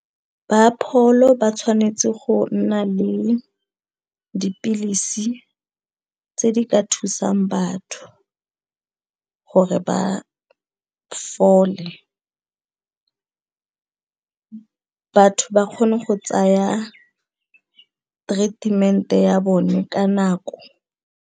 Ba pholo ba tshwanetse go nna le dipilisi tse di ka thusang batho gore ba fole batho ba kgone go tsaya treatment-e ya bone ka nako.